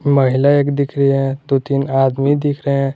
महिला एक दिख रही है दो तीन आदमी दिख रहे--